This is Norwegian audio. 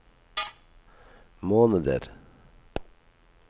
måneder